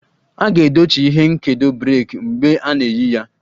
A ga-edochi ihe nkedo breeki mgbe a na-eyi ya